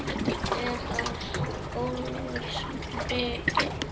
Er það góðs viti.